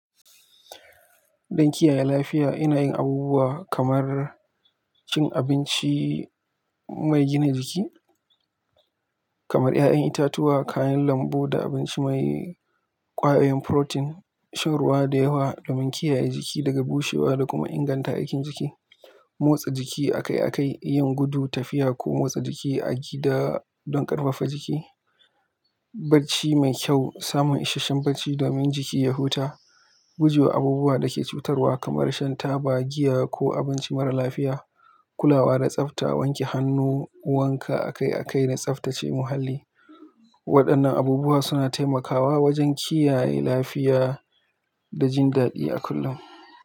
Don kiyaye lafiya, ina yin abubuwa kamar cin abinci mai gina jiki kamar 'ya'yan itatuwa, kayan lambu, da abinci mai. Ƙwayoyin protein, shan ruwa da yawa domin kiyaye jiki daga bushewa da kuma inganta aikin jiki, motsa jiki akai-akai, yin gudu, tafiya ko motsa jiki a gida don ƙarfafa jiki, bacci mai kyau, samun isasshen bacci domin jiki ya huta, guje wa abubuwa da ke cutarwa kamar shan taba, giya ko abinci marar lafiya, kulawa da tsafta, wanke hannu, wanka akai-akai da tsaftace muhalli. Waɗannan abubuwa suna taimakawa wajen kiyaye lafiya da jin daɗi a kullum.